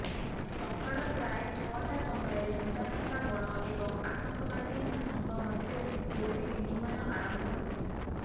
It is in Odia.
ସକାଳ ପ୍ରାୟ ଛଅଟା ସମୟରେ ନିରାପତ୍ତା ବଳ ଏବଂ ଆତଙ୍କବାଦୀମାନଙ୍କ ମଧ୍ୟରେ ଗୁଳି ବିନିମୟ ଆରମ୍ଭ ହୋଇଥିଲା